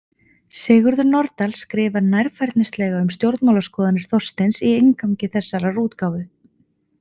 Sigurður Nordal skrifar nærfærnislega um stjórnmálaskoðanir Þorsteins í inngangi þessarar útgáfu.